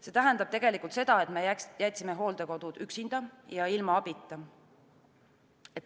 See tähendab seda, et me jätsime hooldekodud üksinda ja abita.